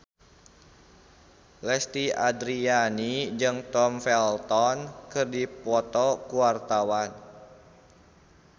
Lesti Andryani jeung Tom Felton keur dipoto ku wartawan